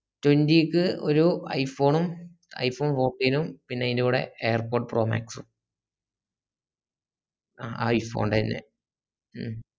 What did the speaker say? twenty ക്ക് ഒരു iphone ഉം iphone forty നും പിന്ന അയിന്റെ കൂടെ air pod pro max ഉം ആഹ് iphone ൻറെ ന്നെ ഉം